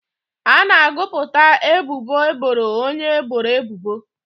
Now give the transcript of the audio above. A na-agụpụta ebubo eboro onye eboro ebubo.